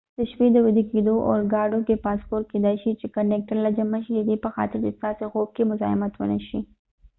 د شپې د ويده کېدو اورګاډو کې پاسپورټ کېدای شي چې د کنډکټر له جمع شي ددې په خاطر چې ستاسې خو ب کې مذاحمت ونه شي